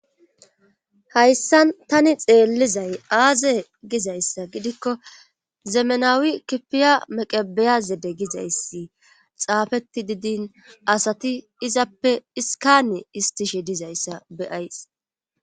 Hayssan tani xeellizay aaze gizayssa gidikko zemenawi kifiya meqebiyazede gizayssi xaafeti didin asati izappe iskane istishe dizayssa beyays.